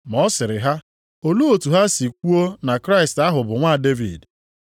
Ma ọ sịrị ha, “Olee otu ha si kwuo na Kraịst ahụ bụ nwa Devid?